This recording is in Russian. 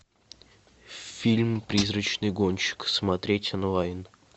фильм призрачный гонщик смотреть онлайн